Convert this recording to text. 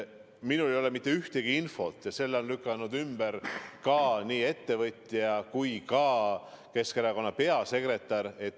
Minul ei ole selle seose kohta mitte mingit infot ja selle on lükanud ümber ka nii ettevõtja kui Keskerakonna peasekretär.